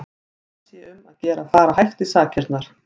Og þá sé um að gera að fara hægt í sakirnar.